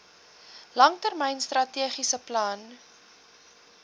langtermyn strategiese plan